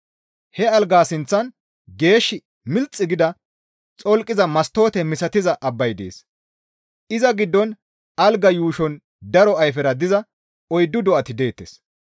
He algaa sinththan geesh milixi gida xolqiza mastoote misatiza abbay dees; iza giddon algaa yuushon daro ayfera diza oyddu do7ati deettes.